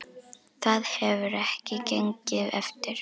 Það hefur ekki gengið eftir.